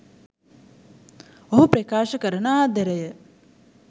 ඔහු ප්‍රකාශ කරන ආදරය